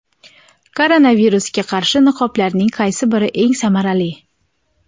Koronavirusga qarshi niqoblarning qaysi biri eng samarali?.